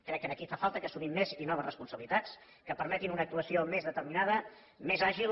crec que aquí fa falta que assumim més i noves responsabilitats que permetin una actuació més determinada més àgil